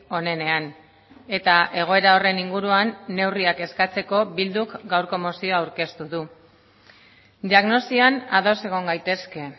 onenean eta egoera horren inguruan neurriak eskatzeko bilduk gaurko mozioa aurkeztu du diagnosian ados egon gaitezke